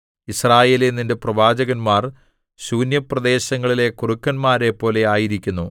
യിസ്രായേലേ നിന്റെ പ്രവാചകന്മാർ ശൂന്യപ്രദേശങ്ങളിലെ കുറുക്കന്മാരെപ്പോലെ ആയിരിക്കുന്നു